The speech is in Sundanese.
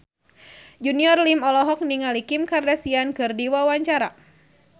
Junior Liem olohok ningali Kim Kardashian keur diwawancara